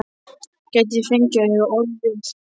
Gæti ég fengið að eiga orð við